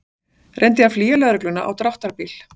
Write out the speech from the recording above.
Reyndi að flýja lögregluna á dráttarbíl